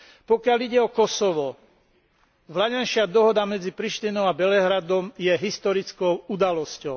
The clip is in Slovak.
Pokiaľ ide o Kosovo, vlaňajšia dohoda medzi Prištinou a Belehradom je historickou udalosťou.